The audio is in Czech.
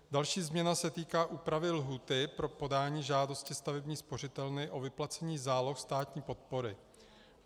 Další změna se týká úpravy lhůty pro podání žádosti stavební spořitelny o vyplacení záloh státní podpory.